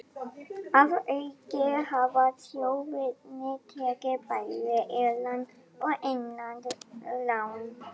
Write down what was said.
Að auki hafa sjóðirnir tekið bæði erlend og innlend lán.